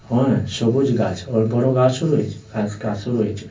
হ্যাঁ সবুজ গাছ আবার বড়ো ঘাসও রয়েছে ঘাস গাছও রয়েছে .